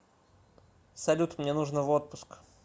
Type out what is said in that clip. салют мне нужно в отпуск